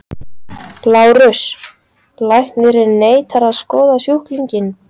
LÁRUS: Læknirinn neitar að skoða sjúklinginn.